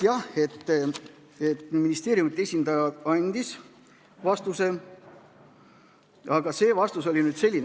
Jah, ministeeriumide esindaja andis vastuse, aga see vastus oli selline.